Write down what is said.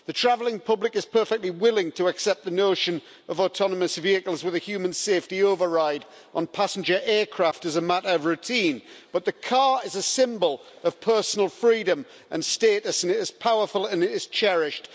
The traveling public is perfectly willing to accept the notion of autonomous vehicles with a human safety override on passenger aircraft as a matter of routine, but the car is a symbol of personal freedom and status, and it is powerful and it is cherished.